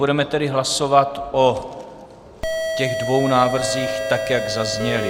Budeme tedy hlasovat o těch dvou návrzích tak, jak zazněly.